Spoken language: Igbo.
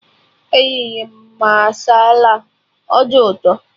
Eriri m masala, ọ dị ụtọ